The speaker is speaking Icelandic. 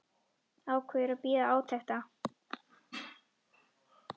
Ákveður að bíða átekta.